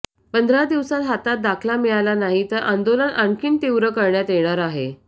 पंधरा दिवसात हातात दाखला मिळाला नाही तर आंदोलन आणखी तीव्र करण्यात येणार आहे